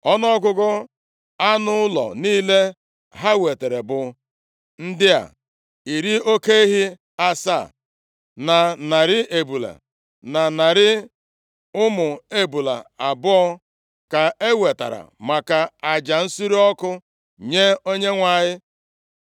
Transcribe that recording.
Ọnụọgụgụ anụ ụlọ niile ha wetara bụ ndị a: iri oke ehi asaa, na narị ebule, na narị ụmụ ebule abụọ, ka e wetara maka aja nsure ọkụ nye Onyenwe anyị.